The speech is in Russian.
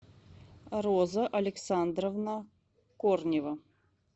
роза александровна корнева